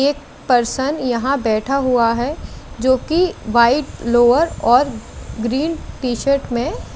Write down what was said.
एक पर्सन यहाँ बैठा हुआ है जोकि व्हाईट लोवर और ग्रीन टी शर्ट में--